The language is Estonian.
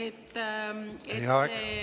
Teie aeg!